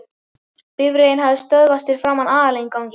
Bifreiðin hafði stöðvast fyrir framan aðalinnganginn.